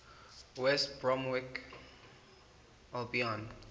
west bromwich albion